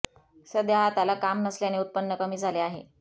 सध्या हाताला काम नसल्याने उत्पन्न कमी झाले आहे